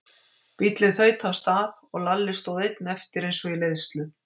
Bíllinn þaut af stað og Lalli stóð einn eftir eins og í leiðslu.